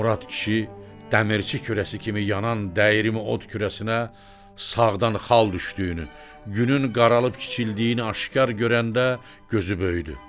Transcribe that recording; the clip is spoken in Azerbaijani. Murad kişi dəmirçi kürəsi kimi yanan dəyirmi od kürəsinə sağdan xal düşdüyünü, günün qaralıb kiçildiyini aşkar görəndə gözü böyüdü.